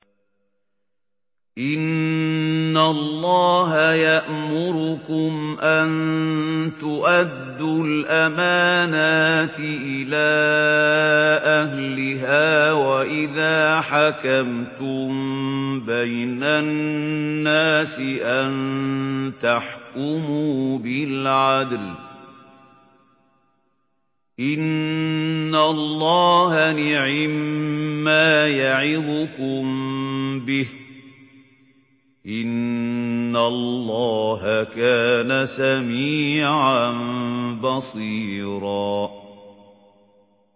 ۞ إِنَّ اللَّهَ يَأْمُرُكُمْ أَن تُؤَدُّوا الْأَمَانَاتِ إِلَىٰ أَهْلِهَا وَإِذَا حَكَمْتُم بَيْنَ النَّاسِ أَن تَحْكُمُوا بِالْعَدْلِ ۚ إِنَّ اللَّهَ نِعِمَّا يَعِظُكُم بِهِ ۗ إِنَّ اللَّهَ كَانَ سَمِيعًا بَصِيرًا